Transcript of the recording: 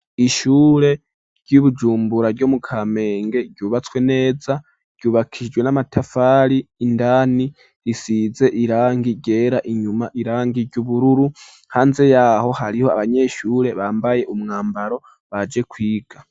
Ishure ry'ibujumbura ryo mu kamenge ryubatswe neza ryubakishijwe n'amatafari, indani risize irangi ryera, inyuma irangi ry'ubururu, hanze yaho hariho abanyeshure bambaye umwambaro baje kwiga.